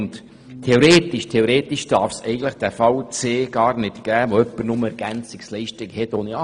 Den Fall C, bei dem jemand nur Ergänzungsleistungen ohne AHV bezieht, darf es theoretisch gar nicht geben.